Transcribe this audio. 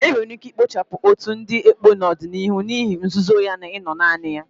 Enwere ike ikpochapụ otu ndị ekpo n'ọdịniihu n'ihi nzuzo ya na ino naanị ya.